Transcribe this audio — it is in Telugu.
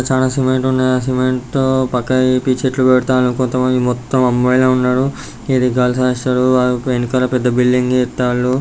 చాన సిమెంట్ ఉన్నది ఆ సిమెంట్ తో పక్కకుజరిపి చెట్లువెడుతన్లు. కొంత మంది మొత్తం అమ్మాయిలే ఉన్నారు. ఇది గర్ల్స్ హాస్టలు . ఆ వెనకాల పెద్ద బిల్డింగే ఎత్తన్లు --